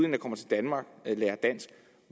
der kommer til danmark lærer dansk